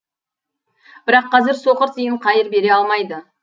бірақ қазір соқыр тиын қайыр бере алмайды